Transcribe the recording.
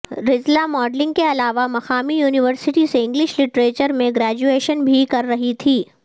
رذلا modelling کے علاوہ مقامی یونیورسٹی سے انگلش لٹریچر میں گریجویشن بھی کر رہی تھیں